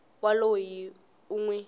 wa loyi u n wi